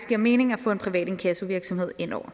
giver mening at få en privat inkassovirksomhed indover